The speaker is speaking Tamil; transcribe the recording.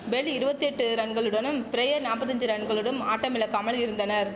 பெல் இருவத்தி எட்டு ரன்களுடனும் பிரையர் நாப்பத்தஞ்சி ரன்களுடனும் ஆட்டமிழக்காமல் இருந்தனர்